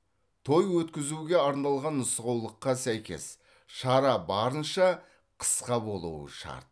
той өткізуге арналған нұсқаулыққа сәйкес шара барынша қысқа болуы шарт